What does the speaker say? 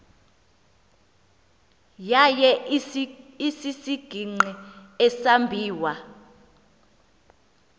yaye isisigingqi esambiwa